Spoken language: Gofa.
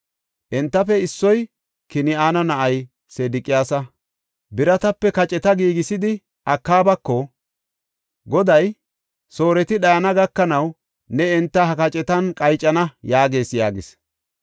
Entafe issoy, Kin7ana na7ay Sedeqiyaasi biratape kaceta giigisidi Akaabako, “Goday, ‘Sooreti dhayana gakanaw ne enta ha kacetan qaycana’ yaagees” yaagis.